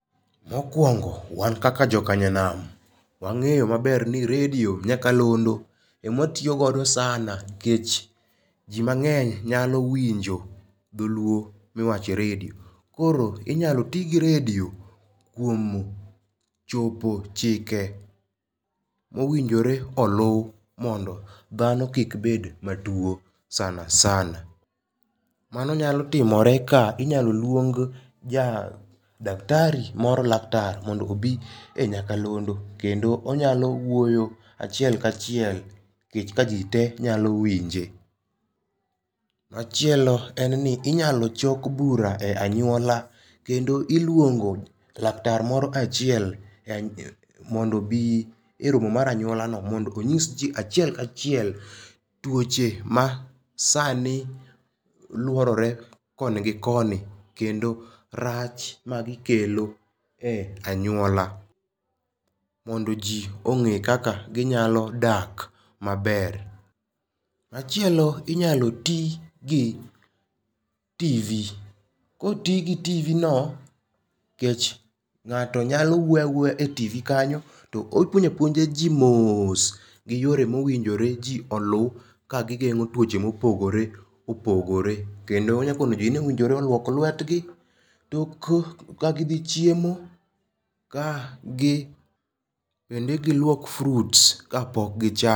Mokuongo wan kaka joka nyanam, wang'eyo maber ni redio, nyakalondo ema watiyo godo sana nikech ji mang'eny nyalo winjo dholuo miwacho e redio. Koro inyalo ti gi redio kuom chopo chike ma owinjore olu mondo dhano kik bed matuo sana sana. Mano nyalo timore ka inyalo luong daktari, laktar mondo obi e nyakalondo kendo onyalo wuoyo achiel ka chiel nikech kaji tee nyalo winje. Machielo en ni inyalo chok bura e anyuola kendo iluongo laktar moro kae achiel en mondo obi eromo mar anyuola no mondo onyis ji achiel ka chiel tuoche ma sani luorore koni gi koni kendo rach magikelo e anyuola mondo ji ong'e kaka ginyalo dak maber . Machielo inyalo ti gi TV, koti gi TV no nikech ng'ato nyalo wuoyo awuoya e TV kanyo to opuonjo apuonja ji mos gi yore mowinjore ji olu kagigeng'o tuoche ma opogore opogore kendo onyalo puonjo ji ni ji owinjore oluok lwetgi ka gidhi chiemo, ka gi bende giluok fruits kapok gicha